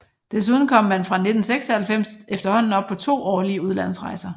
Desuden kom man fra 1996 efterhånden op på to årlige udlandsrejser